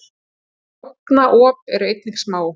tálknaop eru einnig smá